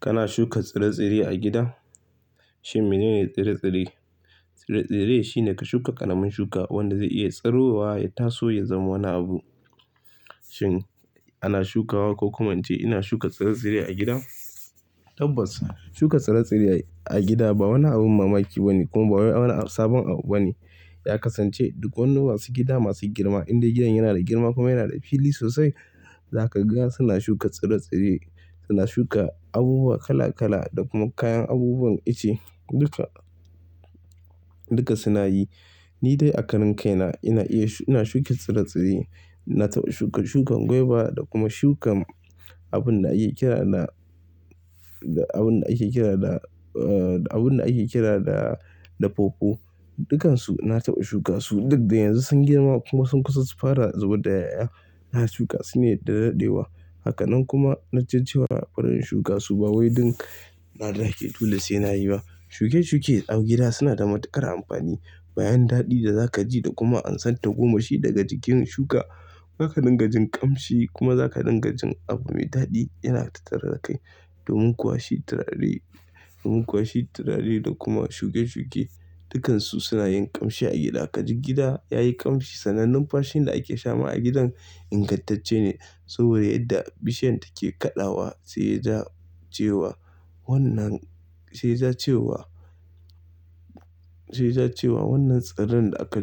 Kana shuka tsire-tsire a gida? Shin mene ne tsire-tsire? Tsire-tsire shi ne ka shuka ƙaramin shuka wanda zai iya tsuruwa ya taso ya zama wani abu. Shin ana shukawa ko kuma na ce ina shuka tsire-tsire a gida? Tabbas shuka tsire-tsire a gida ba wani abin mamaki ba ne kuma ba wani sabon abu ba ne. Ya kasance duk wani masu gida masu girma inda gidan yana da girma kuma yana da fili sosai. Za ka ga suna shuka tsire-tsire suna shuka abubuwa kala-kala da kuma kayan abubuwan ice duka, duka suna yi. Ni dai a karan kaina ina iya, ina shuka tsire-tsire. Na taɓa shuka shukan gwaiba da kuma shukan abin da ake kira da, da abin da ake kira da, ah, abin da ake kira da, da pawpaw. Dukansu na taɓa shuka su. Duk da yanzu sun girma kuma sun kusa su fara zubar da 'ya'ya. Na shuka su ne da daɗewa. Haka nan kuma na ji cewa bari in shuka su ba wai duk na dan an ce dole sai na yi ba. Shuke-shuke a gida suna da matuƙar amfani. Bayan daɗi da za ka ji da kuma amsan tagomashi daga jikin shuka. Za ka dinga jin ƙamshi kuma za ka dinga jin abu mai daɗi yana tattare da kai. Domin kuwa shi turare, domin kuwa shi turare da kuma shuke-shuke dukansu suna yin ƙamshi a gida. Ka ji gida ya yi ƙamshi, sannan numfashin da ake sha ma a gidan ingantacce ne saboda yadda bishiyar take kaɗawa sai ya ja cewa wannan, sai ya ja cewa, sai ya ja cewa wannan tsiren da aka